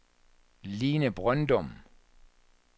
Line Brøndum